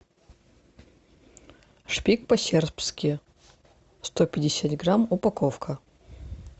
шпик по сербски сто пятьдесят грамм упаковка